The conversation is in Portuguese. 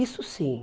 Isso sim.